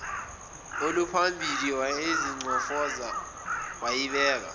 oluphambili wayingcofoza wayibeka